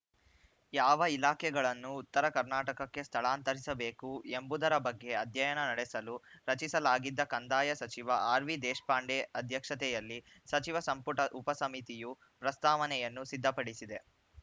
ಯಾವ ಇಲಾಖೆಗಳನ್ನು ಉತ್ತರ ಕರ್ನಾಟಕಕ್ಕೆ ಸ್ಥಳಾಂತರಿಸಬೇಕು ಎಂಬುದರ ಬಗ್ಗೆ ಅಧ್ಯಯನ ನಡೆಸಲು ರಚಿಸಲಾಗಿದ್ದ ಕಂದಾಯ ಸಚಿವ ಆರ್‌ವಿದೇಶಪಾಂಡೆ ಅಧ್ಯಕ್ಷತೆಯಲ್ಲಿ ಸಚಿವ ಸಂಪುಟ ಉಪಸಮಿತಿಯು ಪ್ರಸ್ತಾವನೆಯನ್ನು ಸಿದ್ಧಪಡಿಸಿದೆ